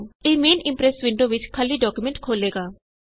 ਇਹ main Impress window ਵਿਚ ਖਾਲੀ ਡਾਕਯੂਮੈਂਟ ਖੋਲ੍ਹੇਗਾ